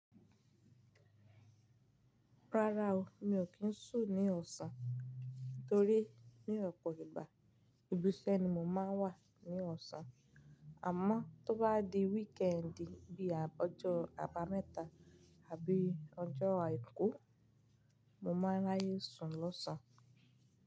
Rárá o, mi ò kí ń sùn ní ọ̀sán torí ní ọ̀pọ̀ ìgbà ibi iṣẹ́ ni mo má ń wà ní ọ̀sán. Àmọ́ tó bá di wíkẹ́ẹ́ndì bí i ọjọ́ àbámẹ́ta àbí ọjọ́ àìkú, mo máa ráyè sùn lọ́ṣàn.